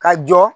Ka jɔ